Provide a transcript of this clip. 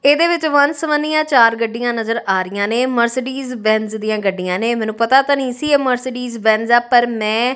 ਇਹਦੇ ਵਿੱਚ ਵਨ ਸਵੀਆਂ ਚਾਰ ਗੱਡੀਆਂ ਨਜ਼ਰ ਆ ਰਹੀਆਂ ਨੇ ਮਰਸਡੀਜ ਬੈਨਸ ਦੀਆਂ ਗੱਡੀਆਂ ਨੇ ਮੈਨੂੰ ਪਤਾ ਤਾਂ ਨਹੀਂ ਸੀ ਮਰਸਡੀਜ ਬੈਨਸ ਆ ਪਰ ਮੈਂ--